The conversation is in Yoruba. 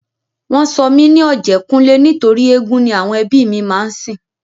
Wọn sọ mí ní Ọ̀jẹ́kúnlé nítorí éégún ni àwọn ẹbí mi máa ń sìn